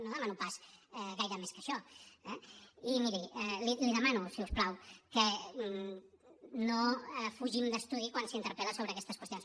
no demano pas gaire més que això eh i miri l’hi demano si us plau que no fugim d’estudi quan s’interpel·la sobre aquestes qüestions